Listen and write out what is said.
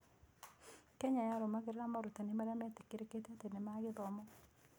Kenya yarũmagĩrĩra morutani marĩa metĩkĩrĩkĩte atĩ nĩ ma gĩthomo.